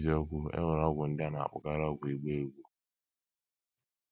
N’eziokwu, e nwere ọgwụ ndị a na - akpọkarị ọgwụ ịgba egwú.